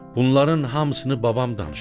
Bunların hamısını babam danışır.